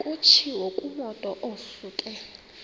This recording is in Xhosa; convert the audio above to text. kutshiwo kumotu osuke